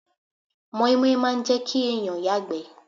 Mọ́ímọ́í máa n jẹ́ kí èèyàn yàgbẹ́